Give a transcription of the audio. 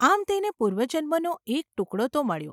આમ તેને પૂર્વજન્મનો એક ટુકડો તો મળ્યો.